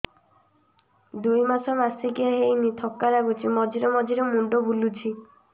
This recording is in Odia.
ଦୁଇ ମାସ ମାସିକିଆ ହେଇନି ଥକା ଲାଗୁଚି ମଝିରେ ମଝିରେ ମୁଣ୍ଡ ବୁଲୁଛି